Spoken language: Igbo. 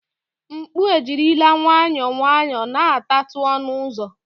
mkpu ejirila nwayọọ nwayọọ na-atatu ọnụ ụzọ